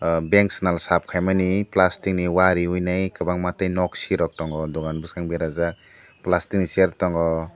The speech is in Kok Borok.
aw bank swnal sap kahimani plastic ni wahh reui kwbangma ke nok si rok tongo ani bwskango berajak plastic ni chair tongo.